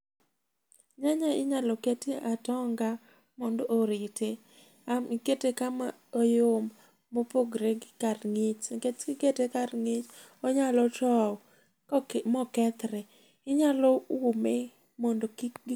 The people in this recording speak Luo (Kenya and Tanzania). Nyanya inyalo ketie atonga mondo orite. Ama ikete kama oyom mopogre gi kar ng'ich, nikech kikete kar ng'ich onyalo tow mokethre. Inyalo ume mondo kik.